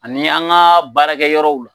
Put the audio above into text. Ani an ga baarakɛ yɔrɔw